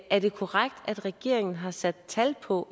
er det korrekt at regeringen har sat tal på